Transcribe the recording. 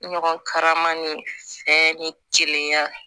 Ɲɔgɔn karama ni fɛn ni kelen ya